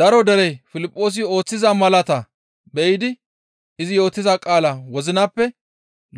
Daro derey Piliphoosi ooththiza malaata be7idi izi yootiza qaalaa wozinappe